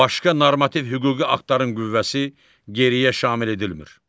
Başqa normativ hüquqi aktların qüvvəsi geriyə şamil edilmir.